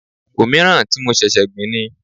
Òmíràn tí mo ṣẹ̀ṣẹ̀ gbìn ni.